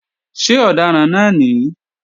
Ṣé ọ̀daràn náà ní?